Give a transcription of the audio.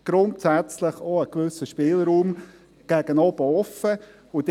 Grundsätzlich ist ein gewisser Spielraum gegen oben offen.